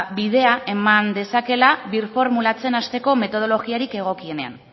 bidea eman dezaketela birformulatzen hasteko metodologiarik egokienean